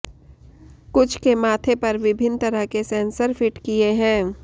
कुछ के माथे पर विभिन्न तरह के सेंसर फिट किए हैं